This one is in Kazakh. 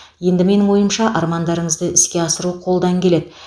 енді менің ойымша армандарыңызды іске асыру қолдан келеді